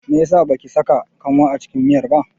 Meyasa baki saka kanwa a cikin miyar ba?